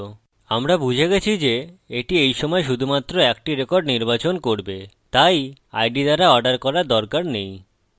আমরা বুঝে গেছি যে এটি এইসময় শুধুমাত্র একটি রেকর্ড নির্বাচন করবে তাই id দ্বারা অর্ডার করার দরকার নেই